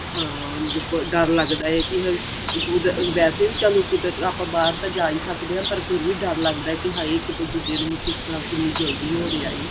ਹਾਂ ਦੇਖੋ ਡਰ ਲਗਦਾ ਏ ਕੀ ah ਵੈਸੇ ਵੀ ਚੱਲ ਕੁਦਰਤ ਆਪਾਂ ਬਾਹਰ ਤਾਂ ਸਕਦੇ ਆਂ ਪਰ ਫਿਰ ਵੀ ਡਰ ਲੱਗਦਾ ਕੀ ਹਾਏ ਕੀ ਇੱਕ ਦੂਜੇ ਨੂੰ ਕਿੰਨੀ ਜਲਦੀ ਹੋ ਰਿਹਾ ਏ